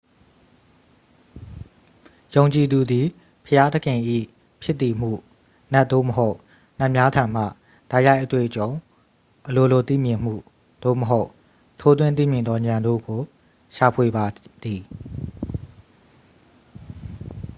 ယုံကြည်သူသည် ဘုရားသခင်၏ဖြစ်တည်မှု/နတ် သို့မဟုတ် နတ်များထံမှ တိုက်ရိုက်အတွေ့အကြုံ၊ အလိုလိုသိမြင်မှု၊ သို့မဟုတ် ထိုးထွင်းသိမြင်သောဉာဏ်တို့ကို ရှာဖွေပါသည်။